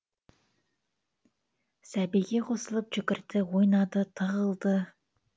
сәбиге қосылып жүгірді ойнады тығылды